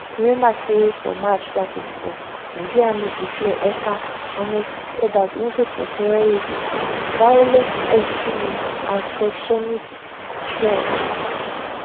remember say for march 2024 nigerian army declare ekpa and 96 odas wanted for terrorism violent extremism and secessionist threats